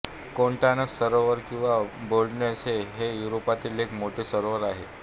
Constance सरोवर किंवा Bodensee हे युरोपातील एक मोठे सरोवर आहे